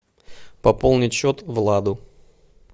пополнить счет владу